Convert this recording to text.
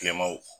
Kilemaw